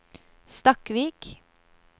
Stakkvik